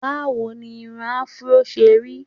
Báwo ni irun afro ṣe rí?